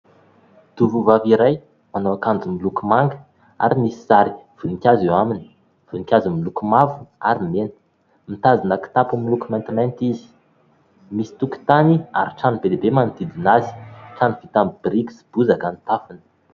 tovovavy iray manao ankanjo miloko manga , ary misy sary voninkazo eo aminy. Voninkazo miloko mavo ary mena .Mitazona kitapo miloko maintimainty izy , misy tokontany ary trano be dia be manodidina azy , trano vita amin'ny biriky sy bozaka ny tafony